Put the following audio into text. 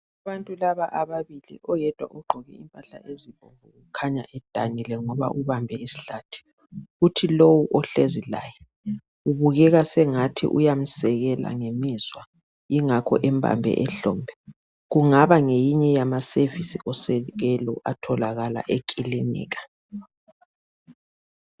Abantu laba ababili oyedwa ugqoke impahla ezibomvu kukhanya edanile ngoba ubambe isihlathi kuthi lowu ohlezi laye kubukeka sengathi uyamsekela ngemizwa ingakho embambe ehlombe kungaba ngeyinye yama service osekelo atholakala ekilinika